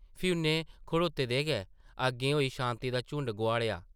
फ्ही उʼन्नै खड़ोते दे गै अग्गें होई शांति दा झुंड गोहाड़ेआ ।